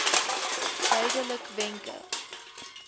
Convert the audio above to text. duidelikwenke